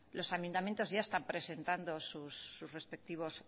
los ayuntamientos ya están presentando sus respectivos